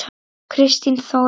Kristín Þóra.